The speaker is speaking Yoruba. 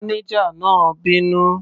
Mánéjà náà bínú.